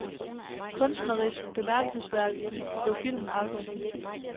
Kunstnerisk bemærkelsesværdig bliver filmen aldrig.